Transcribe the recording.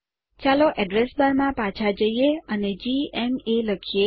ચાલો address bar માં પાછા જઈએ અને જીએમએ લખીએ